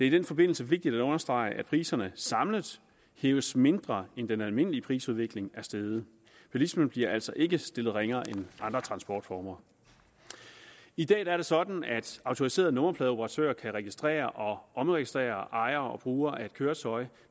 i den forbindelse vigtigt at understrege at priserne samlet hæves mindre end den almindelige prisudvikling er steget bilismen bliver altså ikke stillet ringere end andre transportformer i dag er det sådan at autoriserede nummerpladeoperatører kan registrere og omregistrere ejere og brugere af et køretøj